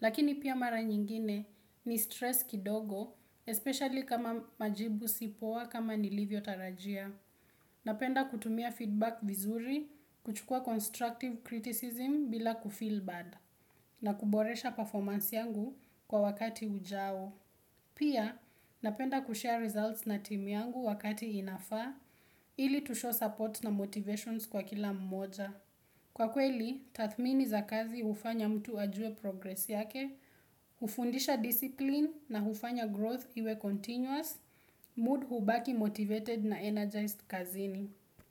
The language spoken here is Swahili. Lakini pia mara nyingine ni stress kidogo, especially kama majibu sipoa kama nilivyo tarajia. Napenda kutumia feedback vizuri, kuchukua constructive criticism bila kufill bad. Na kuboresha performance yangu kwa wakati ujao. Pia, napenda kushare results na timi yangu wakati inafa, ili tusho support na motivations kwa kila mmoja. Kwa kweli, tathmini za kazi ufanya mtu ajue progress yake, ufundisha discipline na ufanya growth iwe continuous, mood hubaki motivated na energized kazini.